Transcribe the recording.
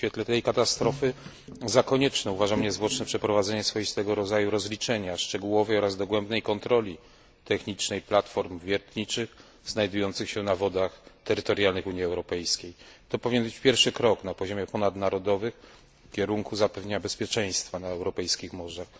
W świetle tej katastrofy za konieczne uważam niezwłoczne przeprowadzenie swoistego rodzaju rozliczenia, szczegółowej i dogłębnej kontroli technicznej platform wiertniczych znajdujących się na wodach terytorialnych Unii Europejskiej. To powinien być pierwszy krok na poziomie ponadnarodowym w kierunku zapewnienia bezpieczeństwa na europejskich morzach.